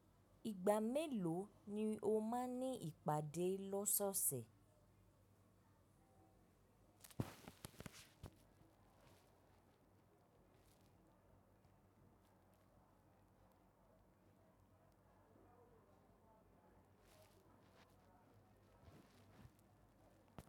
Ìgbà mélòó ni o máa ní ìpàdé lọ́sọ̀ọ̀sẹ̀?